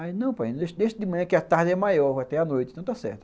Aí, não painho, deixe deixe de manhã que a tarde é maior até a noite, não está certo.